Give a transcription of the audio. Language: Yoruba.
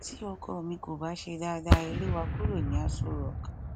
tí ọkọ mi kò bá ṣe dáadáa ẹ lè wá kúrò ní aṣọ rock